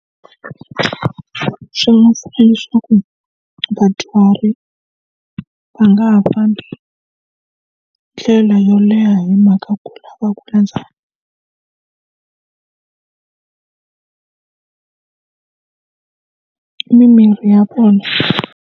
Swi nga leswaku vadyuhari va nga ha fambi ndlela yo leha hi mhaka ku lava ku landza mimirhi ya vona.